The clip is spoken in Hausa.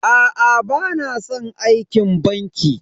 Aa bana san aikin banki.